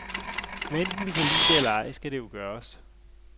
Hvad enten vi kan lide det eller ej, skal det jo gøres.